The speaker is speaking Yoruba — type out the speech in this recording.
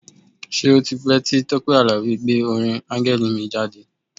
Ṣé ó ti pẹ́ tí Tọ́pẹ́ Àlàbí gbé orin Áńgẹ́lì mi jáde?